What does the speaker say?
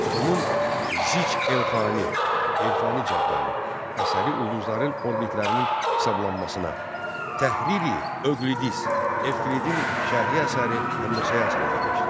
Onun “Zic Elxani” elxani cədvəli əsəri ulduzların orbitlərinin hesablanmasına, “Təhriri Üqlidis”, “Evklidin şərhi” əsəri həndəsəyə həsr edilmişdi.